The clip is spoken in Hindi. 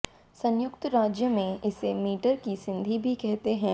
संयुक्त राज्य में इसे मीटर की संधि भी कहते हैं